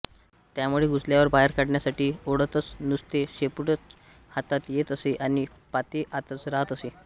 त्यामुळे घुसल्यावर बाहेर काढण्यासाठी ओढताच नुसते शेपूटच हातात येत असे आणि पाते आतच राहत असे